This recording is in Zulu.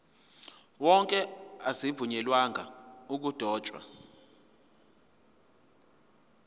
wonke azivunyelwanga ukudotshwa